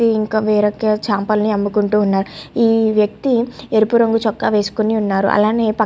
ఇంకా వేరే ఒక చాపల్ని అమ్ముకుంటూ ఉన్నారు. ఈ వ్యక్తి రేపు రంగు చొక్కా వేసుకొని ఉన్నారు అలానే పక్క --